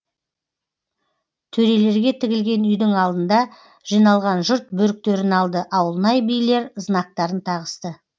төрелерге тігілген үйдің алдында жиналған жұрт бөріктерін алды ауылнай билер знактарын тағысты